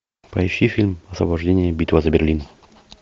поищи фильм освобождение битва за берлин